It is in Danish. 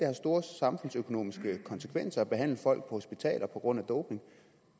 har store samfundsøkonomiske konsekvenser at behandle folk på hospitaler på grund af doping